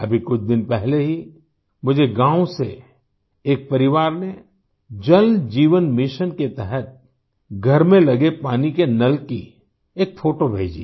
अभी कुछ दिन पहले ही मुझे गाँव से एक परिवार ने जल जीवन मिशन के तहत घर में लगे पानी के नल की एक फोटो भेजी